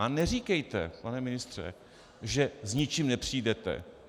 A neříkejte, pane ministře, že s ničím nepřijdete.